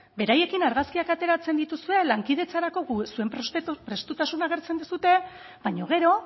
beraiekin argazkiak ateratzen dituzue lankidetzarako zuen prestutasuna agertzen duzue baina gero